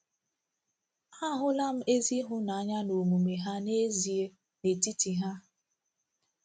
A hụla m ezi ịhụnanya n'omume ha n’ezie n’etiti ha.